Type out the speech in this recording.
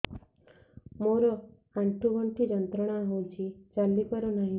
ମୋରୋ ଆଣ୍ଠୁଗଣ୍ଠି ଯନ୍ତ୍ରଣା ହଉଚି ଚାଲିପାରୁନାହିଁ